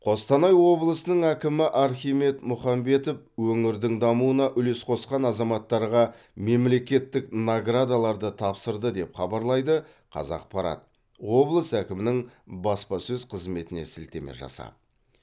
қостанай облысының әкімі архимед мұхамбетов өңірдің дамуына үлес қосқан азаматтарға мемлекеттік наградаларды тапсырды деп хабарлайды қазақпарат облыс әкімінің баспасөз қызметіне сілтеме жасап